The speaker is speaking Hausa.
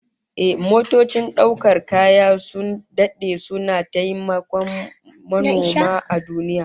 Ehh, motocin daukar kaya sun dade suna taimakon manoma a duniya